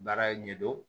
Baara ɲɛdon